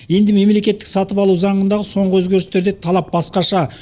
енді мемлекеттік сатып алу заңындағы соңғы өзгерістерде талап басқаша